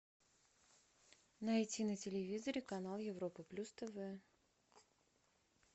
найти на телевизоре канал европа плюс тв